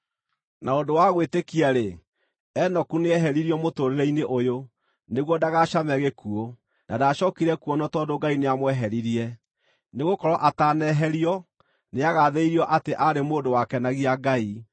Na ũndũ wa gwĩtĩkia-rĩ, Enoku nĩeheririo mũtũũrĩre-inĩ ũyũ, nĩguo ndagacame gĩkuũ; na ndacookire kuonwo tondũ Ngai nĩamweheririe. Nĩgũkorwo ataneherio, nĩagathĩrĩirio atĩ aarĩ mũndũ wakenagia Ngai.